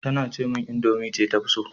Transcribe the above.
Tace min indomie ce ta fi so